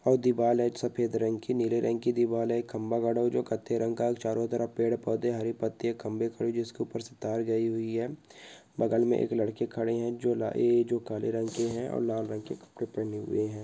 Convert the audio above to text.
और दीवाल है सफेद रंग की नीले रंग की दीवाल हैखंभा गड़ा हुआ जो कत्थे रंग का चारों तरफ पेड़ पौधे हरी पत्ती हे खंभे खड़ी हुई जिसके उपर से तार गई हुई हे बगल मे एक लड़के खड़े हैजो ए जो काले रंग के हे और लाल रंग के कपड़े पहने हुए है।